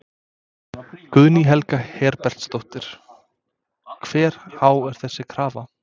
Guðný Helga Herbertsdóttir: Hversu há er þessi krafa?